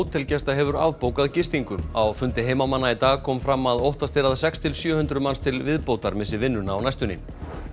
hótelgesta hefur gistingu á fundi heimamanna í dag kom fram að óttast er að sex til sjö hundruð manns til viðbótar missi vinnuna á næstunni